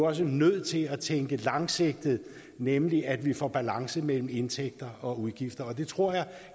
også er nødt til at tænke langsigtet nemlig at vi får balance mellem indtægter og udgifter det tror jeg